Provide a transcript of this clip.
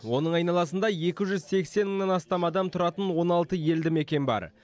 оның айналасында екі жүз сексен мыңнан астам адам тұратын он алты елді мекен бар